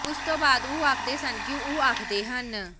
ਉਸ ਤੋਂ ਬਾਅਦ ਉਹ ਆਖਦੇ ਸਨ ਕਿ ਉਹ ਆਖਦੇ ਹਨ